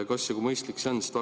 Kas ja kui mõistlik see on?